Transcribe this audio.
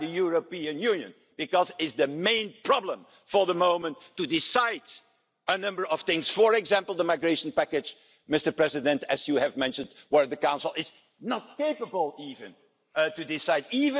is happening it's happening now and it's happening everywhere, from disastrous harvests to forest fires. There is no way anyone could possibly deny that.